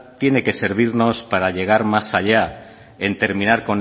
tiene que servirnos para llegar más allá en terminar